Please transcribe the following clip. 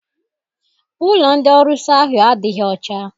Ụlọ ndị ọrusi ahụ adịghị ọcha.